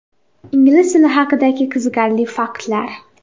Ingliz tili haqidagi qiziqarli faktlar.